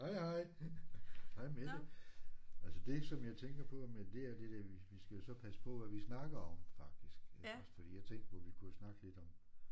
Hej hej. Hej Mette. Altså det som jeg tænker på Mette det er det der vi skal jo så passe på hvad vi snakker om faktisk iggås fordi jeg tænkte på vi kunne jo snakke lidt om